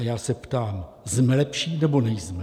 A já se ptám: Jsme lepší, nebo nejsme?